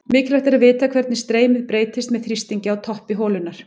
Mikilvægt er að vita hvernig streymið breytist með þrýstingi á toppi holunnar.